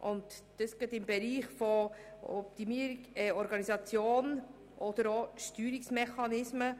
Dies betrifft gerade die Bereiche Organisation oder Steuerungsmechanismen.